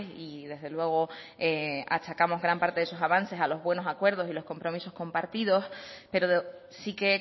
y desde luego achacamos gran parte de esos avances a los buenos acuerdos y los compromisos compartidos pero sí que